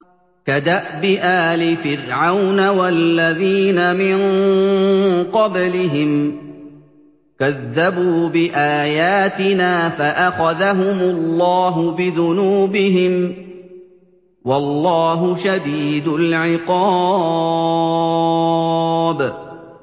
كَدَأْبِ آلِ فِرْعَوْنَ وَالَّذِينَ مِن قَبْلِهِمْ ۚ كَذَّبُوا بِآيَاتِنَا فَأَخَذَهُمُ اللَّهُ بِذُنُوبِهِمْ ۗ وَاللَّهُ شَدِيدُ الْعِقَابِ